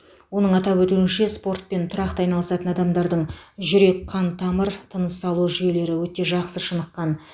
оның атап өтуінше спортпен тұрақты айналысатын адамдардың жүрек қан тамыр тыныс алу жүйелері өте жақсы шыныққан